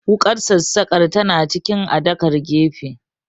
Wuƙar sassaƙar tana cikin adakar gefe